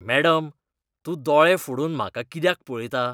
Madam, तूं दोळें फोडून म्हाका कित्याक पळयता?